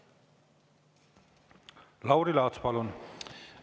Lauri Laats, palun!